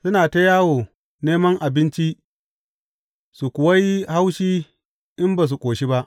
Suna ta yawo neman abinci su kuwa yi haushi in ba su ƙoshi ba.